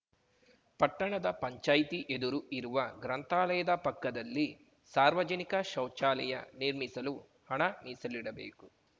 ಪಟ್ಟಣದ ಪಂಚಾಯ್ತಿ ಎದುರು ಇರುವ ಗ್ರಂಥಾಲಯದ ಪಕ್ಕದಲ್ಲಿ ಸಾರ್ವಜನಿಕ ಶೌಚಾಲಯ ನಿರ್ಮಿಸಲು ಹಣ ಮೀಸಲಿಡಬೇಕು